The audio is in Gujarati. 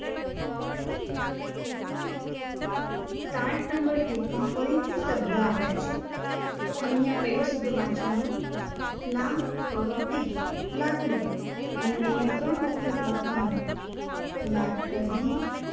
card નંબર ત્રીસમાં ફરીથી શબ્દ આપ્યા છે તો અહિયાં પહેલો શબ્દ વાંચવાનો લાકડી લાકડી અન અહિયાં ત્રણ વખત લખવાનું લાકડી